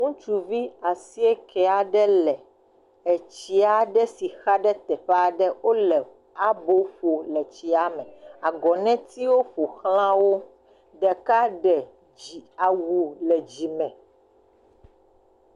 Ŋutsuvi asieke aɖe le etsi aɖe si xa ɖe teƒe aɖe. Wo le abo ƒom le etsia me, agɔnetiwo ƒo xlã wo. Ɖeka ɖe awu le dzime.